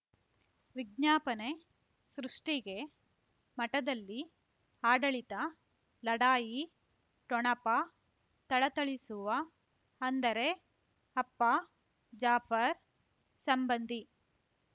ವಿಜ್ಞಾಪನೆ ಸೃಷ್ಟಿಗೆ ಮಠದಲ್ಲಿ ಆಡಳಿತ ಲಢಾಯಿ ಠೊಣಪ ಥಳಥಳಿಸುವ ಅಂದರೆ ಅಪ್ಪ ಜಾಫರ್ ಸಂಬಂಧಿ